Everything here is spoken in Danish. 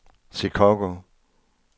Chicago